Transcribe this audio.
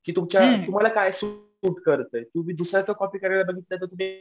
की तुम्हाला काय सूट करतंय तुम्ही दुसऱ्याच कॉपी करायला बघितलं तर तुम्ही.